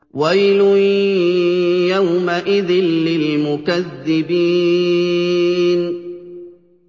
وَيْلٌ يَوْمَئِذٍ لِّلْمُكَذِّبِينَ